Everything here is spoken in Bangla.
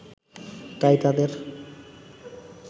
তাই তাদের